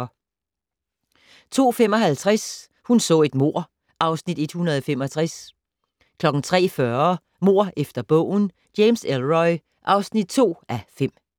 02:55: Hun så et mord (Afs. 165) 03:40: Mord efter bogen - James Ellroy (2:5)